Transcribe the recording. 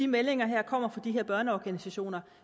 meldingerne kommer fra de her børneorganisationer